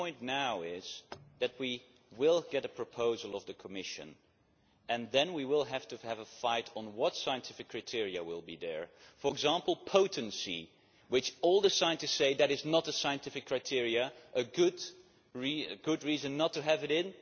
The point now is that we will get a proposal from the Commission, and then we will have to have a fight on what scientific criteria will be there. For example potency, which all the scientists say is not a scientific criterion a good reason not to have it in.